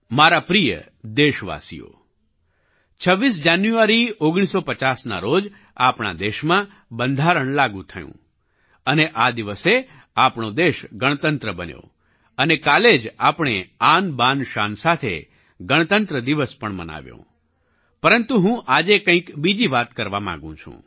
મારા પ્રિય દેશવાસીઓ 26 જાન્યુઆરી 1950ના રોજ આપણા દેશમાં બંધારણ લાગુ થયું અને આ દિવસે આપણો દેશ ગણતંત્ર બન્યો અને કાલે જ આપણે આનબાનશાન સાથે ગણતંત્ર દિવસ પણ મનાવ્યો પરંતુ હું આજે કંઈક બીજી વાત કરવા માગું છું